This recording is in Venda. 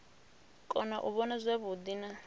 kona u vhona zwavhuḓi na